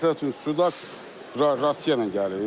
Məsəl üçün, sudak Rasiya ilə gəlir.